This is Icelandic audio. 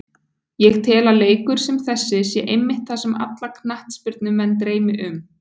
Ég tel að leikur sem þessi sé einmitt það sem alla knattspyrnumenn dreymi um.